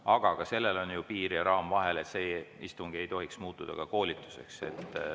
Aga ka siin on ju piir ja raam vahel, sest istung ei tohiks muutuda koolituseks.